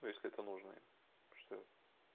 ну если это нужно и что